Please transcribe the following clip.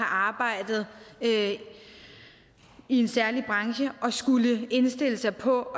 arbejdet i en særlig branche at skulle indstille sig på